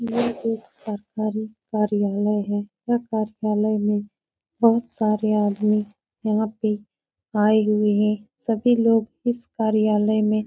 यह एक सरकारी कार्यालय है। यह कार्यालय में बहोत सारे आदमी यहाँ पे आये हुए हैं। सभी लोग इस कार्यालय में --